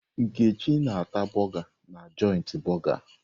Nkechi ná-ata borgà joiti borgà